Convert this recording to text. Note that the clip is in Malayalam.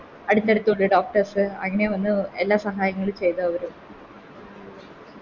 അടുത്തടുത്ത് ഇണ്ട് Doctors അങ്ങനെ വന്ന് എല്ലാ സഹായങ്ങളും ചെയ്ത അവര്